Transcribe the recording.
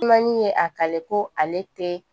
Manin ye a kale ko ale tɛ